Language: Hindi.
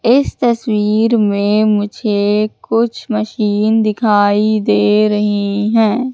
इस तस्वीर में मुझे कुछ मशीन दिखाई दे रही हैं।